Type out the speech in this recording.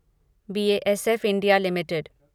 B A S F India limited